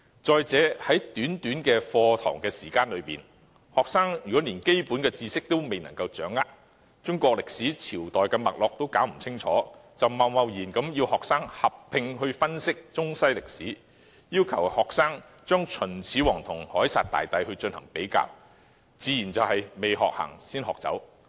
在短短的課堂時間內，如果學生連基本的知識都未能掌握，歷史上各個朝代的脈絡都弄不清楚，就貿然要學生合併分析中西歷史，或把秦始皇與凱撒大帝作比較，自然是"未學行，先學走"。